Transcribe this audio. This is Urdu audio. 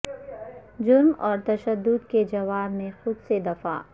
جرم اور تشدد کے جواب میں خود سے دفاع